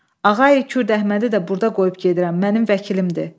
Ağay Kürdəhmədi də burda qoyub gedirəm, mənim vəkilimdir.